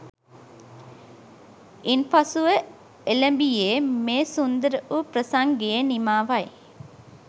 ඉන්පසුව එළඹියේ මේ සුන්දර වූ ප්‍රසංගයේ නිමාවයි